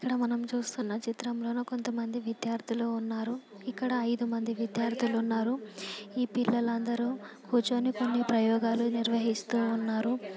ఇక్కడ మనం చూస్తున్న చిత్రంలోనా కొంతమంది విద్యార్థులు ఉన్నారు. ఇక్కడ ఐదు మంది విద్యార్థులు ఉన్నారు. ఈ పిల్లలందరూ కూర్చొని ప్రయోగాలు నిర్వహిస్తు ఉన్నారు.